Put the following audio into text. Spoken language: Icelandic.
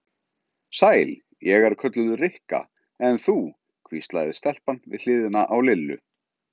Sæl, ég er kölluð Rikka, en þú? hvíslaði stelpan við hliðina á Lillu.